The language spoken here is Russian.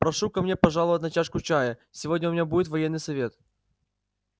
прошу ко мне пожаловать на чашку чаю сегодня у меня будет военный совет